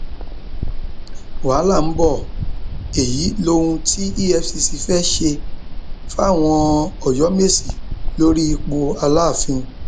wàhálà ń bọ ọ èyí lóhun tí efcc fee ṣe fáwọn ọyọmẹsì lórí ipò aláàfin